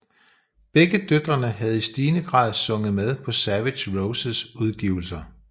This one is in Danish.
Begge døtrene havde i stigende grad sunget med på Savage Roses udgivelser